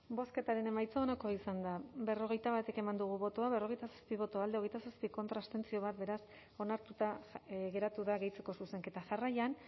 bozketaren emaitza onako izan da berrogeita bat eman dugu bozka berrogeita zazpi boto alde hogeita zazpi contra bat abstentzio beraz onartuta geratu da gehitzeko zuzenketa jarraian